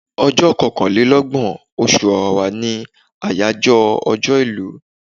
Ọjọ́ kankàn lé lọ́gbọ̀n, oṣù Ọ̀wàwà ní àyájọ́ ọjọ́ ìlú.